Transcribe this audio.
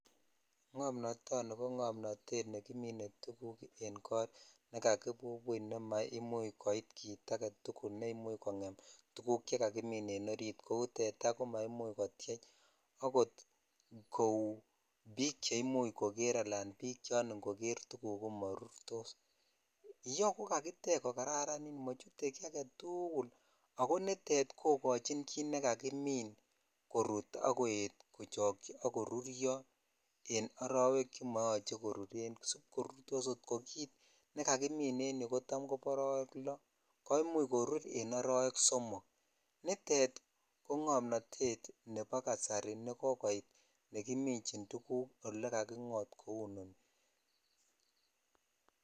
Ng'omnoto tonight ko ng'omotet June kimine tugk en kot nekakibubun6 ne maimuch koit kit agetukul ne imuch kongem tuguk che kakimin en orit kou tetaa ko maimuch kotyechako kou bik che imuch kokere alan bik chan ingoker tuguk ko morutosviyeu ko kakitech kokararanit machete ki agetukul ak koitet kokochin kit nekakimin korut ak koet kochokyi ak koruryo en arowe chemoyoche koruren sib kokutos kot ko kit nekakiminen yu kobo arowe loo ko imuch korur en arowek somok nitet ko ng'omotet nebo ksmasari neki. ichin tuguk ale kakongot kou nii .